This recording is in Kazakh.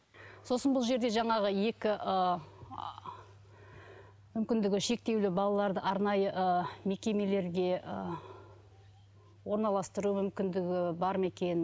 сосын бұл жерде жаңағы екі ы мүмкіндігі шектеулі балаларды арнайы ы мекемелерге ы орналастыру мүмкіндігі бар ма екен